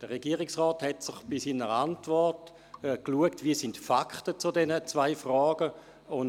Der Regierungsrat hat für seine Antwort geschaut, welches die Fakten zu diesen zwei Fragen sind.